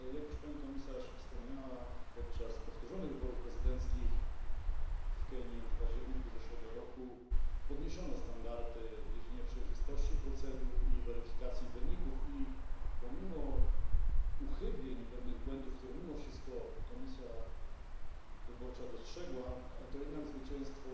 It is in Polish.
Jak już pani komisarz wspomniała, podczas powtórzonych wyborów prezydenckich w Kenii w październiku zeszłego roku podniesiono standardy w dziedzinie przejrzystości procedur i weryfikacji wyników. I pomimo uchybień i pewnych błędów, które mimo wszystko komisja wyborcza dostrzegła, to jednak zwycięstwo